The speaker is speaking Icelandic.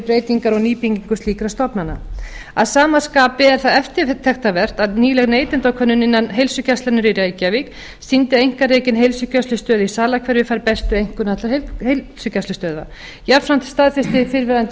breytingar og nýtingu slíkra stofnana að sama skapi er það eftirtektarvert að nýleg neytendakönnun innan heilsugæslunnar í reykjavík sýndi að einkarekin heilsugæslustöð í salahverfi fær bestu einkunn allra heilsugæslustöðva jafnframt staðfestir fyrrverandi